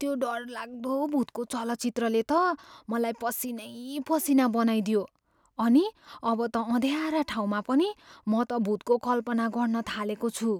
त्यो डरलाग्दो भुतको चलचित्रले त मलाई पसिनै पसिना बनाईदियो अनि अब त अँध्यारा ठाउँमा पनि म त भुतको कल्पना गर्न थालेको छु।